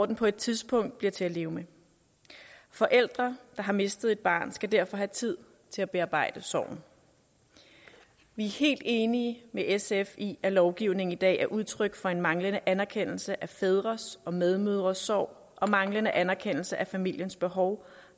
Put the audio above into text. den på et tidspunkt bliver til at leve med forældre der har mistet et barn skal derfor have tid til at bearbejde sorgen vi er helt enige med sf i at lovgivningen i dag er udtryk for en manglende anerkendelse af fædres og medmødres sorg og manglende anerkendelse af familiens behov